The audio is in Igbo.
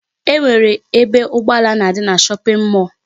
E nwere ebe ụgbọala na-adị na shopping mall.